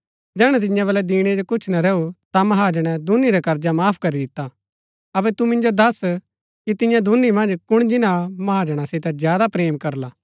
जैहणै तियां बल्लै दिणै जो कुछ ना रैऊ ता महाजणै दूनी रा कर्जा माफ करी दिता अबै तू मिन्जो दस कि तियां दूनी मन्ज कुण जिन्‍ना महाजणा सितै ज्यादा प्रेम करला